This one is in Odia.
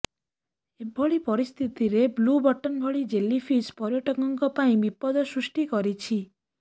ଏଭଳି ପରିସ୍ଥିତିରେ ବ୍ଲୁ ବଟନ୍ ଭଳି ଜେଲି ଫିସ୍ ପର୍ଯ୍ୟଟକଙ୍କ ପାଇଁ ବିପଦ ସୃଷ୍ଟି କରିଛି